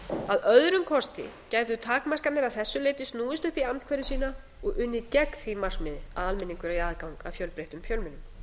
að öðrum kosti gætu takmarkanir að þessu leyti snúist upp í andhverfu sína og unnið gegn því markmiði að almenningur eigi aðgang að fjölbreyttum fjölmiðlum